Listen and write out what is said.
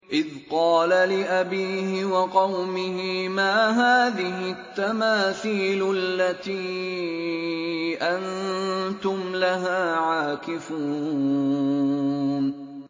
إِذْ قَالَ لِأَبِيهِ وَقَوْمِهِ مَا هَٰذِهِ التَّمَاثِيلُ الَّتِي أَنتُمْ لَهَا عَاكِفُونَ